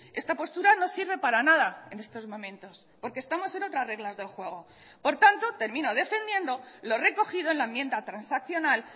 esta postura no sirve para nada en estos momentos porque estamos en otras reglas del juego por tanto termino defendiendo lo recogido en la enmienda transaccional